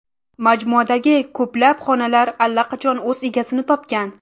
Majmuadagi ko‘plab xonadonlar allaqachon o‘z egasini topgan.